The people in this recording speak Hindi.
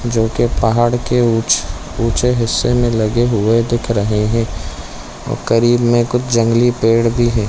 जोकि पहाड़ के उच्च ऊँचे हिस्से में लगे हुए देख रहे है करीब में कुछ जंगली पेड़ भी है।